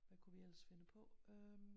Hvad kunne vi ellers finde på øhm